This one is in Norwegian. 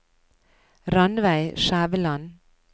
Ranveig Skjæveland